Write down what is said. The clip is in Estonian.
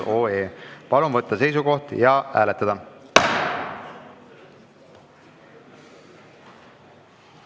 Palun võtta seisukoht ja hääletada!